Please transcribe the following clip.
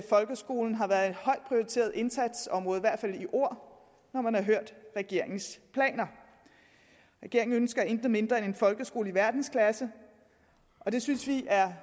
folkeskolen har været et højt prioriteret indsatsområde i hvert fald i ord når man har hørt regeringens planer regeringen ønsker ikke mindre end en folkeskole i verdensklasse og det synes vi